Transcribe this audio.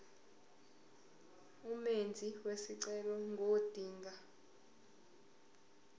umenzi wesicelo ngodinga